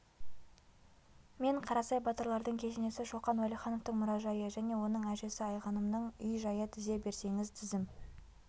мен қарасай батырлардың кесенесі шоқан уәлихановтың мұражайы және оның әжесі айғанымның үй-жайы тізе берсеңіз тізім